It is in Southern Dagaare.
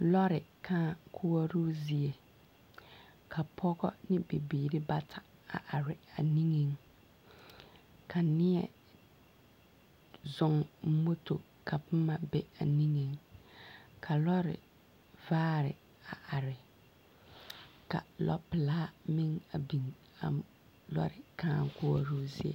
Lɔre kãã koɔroo zie, ka pɔgɔ ne bibiiri bata a are a niŋeŋ. Ka neɛ, zɔŋ moto ka boma be a niŋeŋ, ka lɔre vaare a are, ka lɔpelaa meŋ a biŋ a m lɔre kãã koɔroo zie.